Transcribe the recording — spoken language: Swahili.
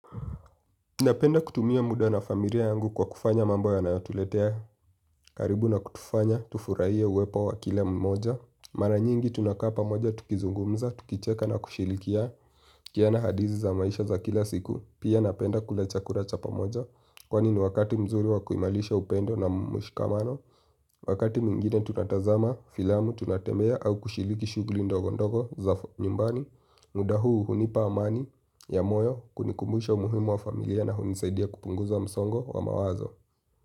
Napenda kutumia muda na familia yangu kwa kufanya mambo yanayotuletea. Karibu na kutufanya, tufurahie uwepo wa kila mmoja. Mara nyingi tunakaa pamoja, tukizungumza, tukicheka na kushirikiana. Hadithi za maisha za kila siku, pia napenda kula chakula cha pamoja. Kwani ni wakati mzuri wa kuimarisha upendo na mshikamano. Wakati mwingine tunatazama filamu tunatembea au kushiriki shughuli ndogo ndogo za nyumbani muda huu hunipa amani ya moyo kunikumbusha umuhimu wa familia na hunisaidia kupunguza msongo wa mawazo.